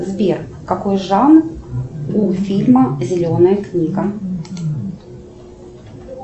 сбер какой жанр у фильма зеленая книга